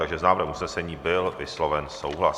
Takže s návrhem usnesení byl vysloven souhlas.